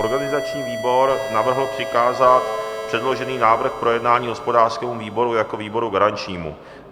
Organizační výbor navrhl přikázat předložený návrh k projednání hospodářskému výboru jako výboru garančnímu.